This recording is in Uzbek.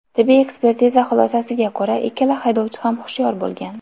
Tibbiy ekspertiza xulosasiga ko‘ra, ikkala haydovchi ham hushyor bo‘lgan.